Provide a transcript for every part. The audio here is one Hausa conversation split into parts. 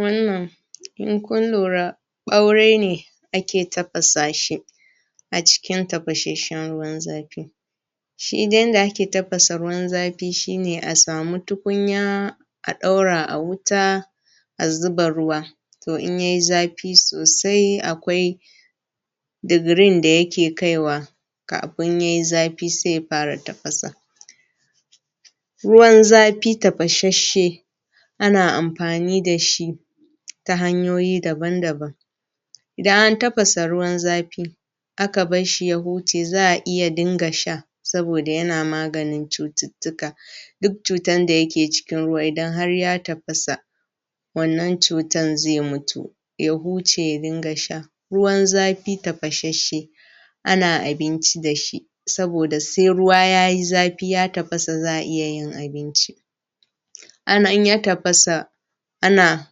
Wannan in kun lura ɓaure ne ake tafasa shi a cikin tafashashshen ruwan zafi. Shi yanda ake tafasa ruwan zafi shi ne a sami tukunya a ɗaura a wuta a zuba ruwa to in yai zafi sosai akwai digirin da yake kai wa kafin yai zafi, sai ya fara tafasa. Ruwan zafi tafashashshe ana amfani da shi ta hanyoyi daban daban, idan an tafasa ruwan zafi aka bar shi ya huce za a iya Sha sabida yana maganin cututtuka. Duk cutan da yake cikin ruwa idan har ya tafasa wannan cutan zai mutu ya huce ya dinga sha. Ruwan zafi tafashashshe ana abinci da shi, sabida sai ruwa yayi zafi ya tafasa za a iya yin abinci. In ya tafasa ana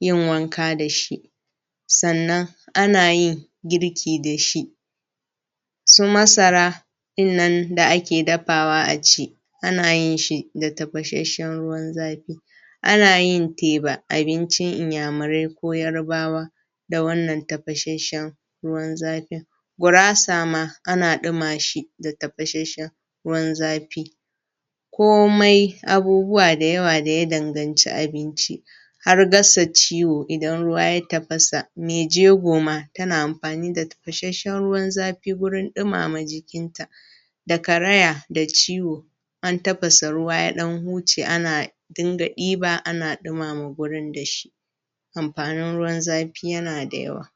yin wanka da shi sannan ana yin girki da shi, su Masara ɗin nan da ake dafawa a ci ana yin shi da tafashashshen ruwan zafi, ana yin teba abincin inyamurai ko yarbawa da wannan tafashashshen ruwan zafi, Gurasa ma ana duma shi da tafashashshen ruwan zafi, komai abubuwa da yawa daya danganci abinci, har gasa ciwo idan ruwa ya tafasa, mai jego ma tana amfani da tafashashshen ruwan zafi gurin dumama jikin ta da karaya da ciwo in an tafasa ruwa ya ɗan huce ana din ga ɗiba ana ɗumama wurin da shi. Amfanin ruwan zafi yana da yawa.